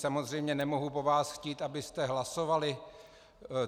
Samozřejmě nemohu po vás chtít, abyste hlasovali.